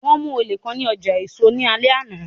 Wọn mu ole kan ni ọja eso ni alẹ ana